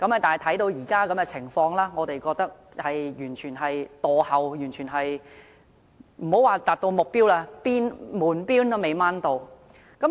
但是，觀乎現時的情況，我認為完全是墮後的，莫說是達到目標，連門邊也未能攀上。